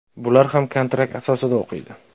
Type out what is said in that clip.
Bular ham kontrakt asosida o‘qiydi.